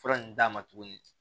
Fura nunnu d'a ma tuguni